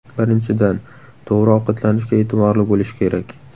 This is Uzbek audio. Birinchidan, to‘g‘ri ovqatlanishga e’tiborli bo‘lish kerak.